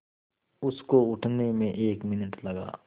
उसको उठने में एक मिनट लगा